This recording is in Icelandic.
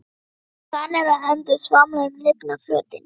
Svanir og endur svamla um lygnan flötinn.